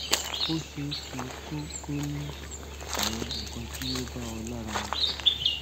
ó ṣeéṣeeé kó kó o ní awon nǹkan tí ò bá ọ lára mu